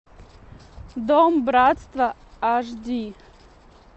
дом братства аш ди